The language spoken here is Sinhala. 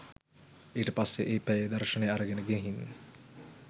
ඊට පස්සෙ ඒ පැයේ දර්ශනය අරගෙන ගිහින්